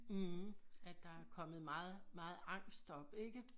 Mh at der er kommet meget meget angst op ikke